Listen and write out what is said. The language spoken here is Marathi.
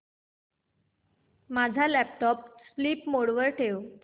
माझा लॅपटॉप स्लीप मोड वर ठेव